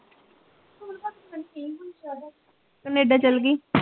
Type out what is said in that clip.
Canada ਚੱਲਗੀ